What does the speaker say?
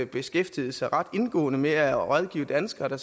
beskæftiget sig ret indgående med at rådgive danskere der